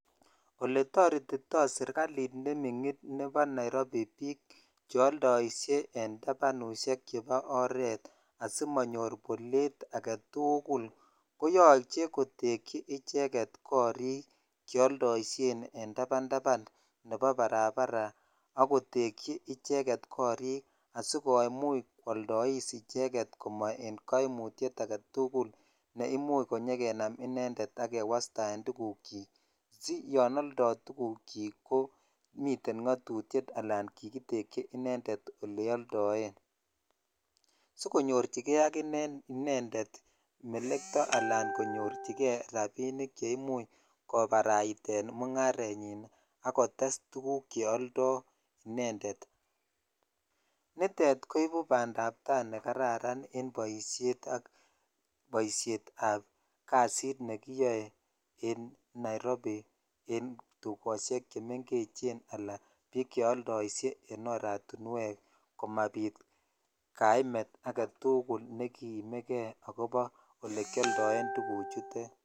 oletoretitoo serkaliit ne ming'in biik cheoldoishe en tabanushek chebo oret asimanyoor boleet agetuguul, koyoche kotekyi icheget koriik cheoldoishen en tabantaban nebo barabara ak kotekyi icheget koriik asigomuuch kwoldoiss icheget amaen koimutyeet agetugul, neimuch konyagenam inendeet ak kewastaen tuguuk kyiik si yoon oldo tuguuk kyiik komiten ngotutiet anan kigitekyi inendet oleoldoee, sigonyorchigee ak inee inendet melekto alaan konyorchigee rabinik cheimuch kobaraiteen mungarenyin ak kotes tuguuk cheoldoo inendet, niteet koibuu bandaab taai negararan en boisheet ak boishet ab kasiit negiyoe en nairobi en tugosheek chemengechen anaan biik cheoldoishe en ortinweek komabiit kaimeet agetugul negiimegee agobo olekyoldoen tuguuk chuteet.